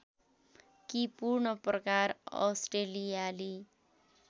कि पूर्ण प्रकार अस्ट्रेलियाली